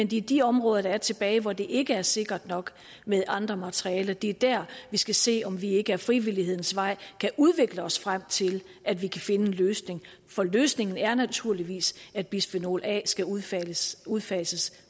de de områder tilbage hvor det ikke er sikkert nok med andre materialer det er der vi skal se om vi ikke ad frivillighedens vej kan udvikle os frem til at vi kan finde en løsning for løsningen er naturligvis at bisfenol a skal udfases udfases